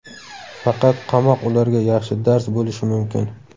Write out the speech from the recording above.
Faqat qamoq ularga yaxshi dars bo‘lishi mumkin.